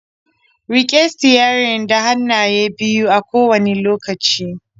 Rike sitiyarin da hannaye biyu a kowane lokaci.